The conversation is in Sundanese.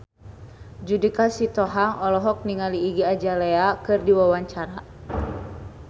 Judika Sitohang olohok ningali Iggy Azalea keur diwawancara